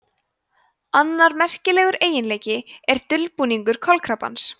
annar merkilegur eiginleiki er dulbúningur kolkrabbans